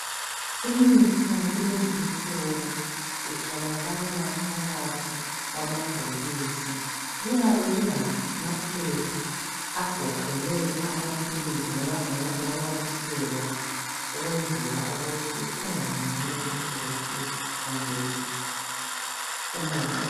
Imithi yakulezi insuku itholakala phakathi kwamabhokisi kuyabe kulamaphepha agoqele amaphilisi ananyathiselwa ukwenzela ukuthi kungangeni idoti kumbe umoya.